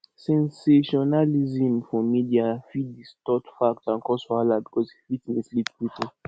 sensationalism for media fit distort facts and cause wahala because e fit mislead people